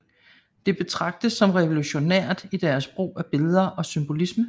Det betragtes som revolutionært i dets brug af billeder og symbolisme